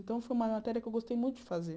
Então, foi uma matéria que eu gostei muito de fazer.